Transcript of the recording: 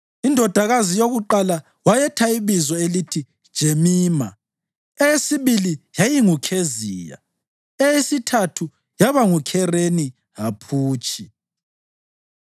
Indodakazi yokuqala wayetha ibizo elithi Jemima, eyesibili yayinguKheziya, eyesithathu yaba nguKhereni-Haphutshi.